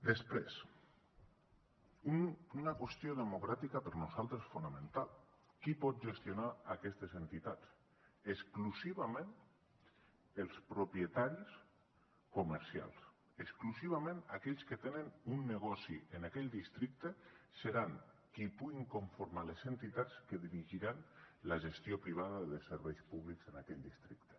després una qüestió democràtica per nosaltres fonamental qui pot gestionar aquestes entitats exclusivament els propietaris comercials exclusivament aquells que tenen un negoci en aquell districte seran qui puguin conformar les entitats que dirigiran la gestió privada de serveis públics en aquell districte